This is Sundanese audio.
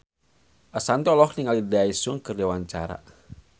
Ashanti olohok ningali Daesung keur diwawancara